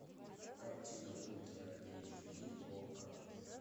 картина ультра эйч ди окко